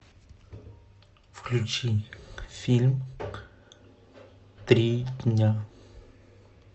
включи фильм три дня